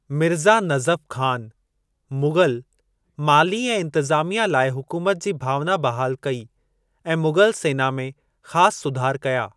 मिर्ज़ा नज़फ़ ख़ान, मुग़ल माली ऐं इंतज़ामिया लाइ हुकुमत जी भावना बहाल कई ऐं मुग़ल सेना में ख़ासि सुधार कया।